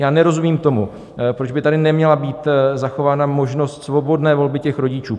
Já nerozumím tomu, proč by tady neměla být zachována možnost svobodné volby těch rodičů.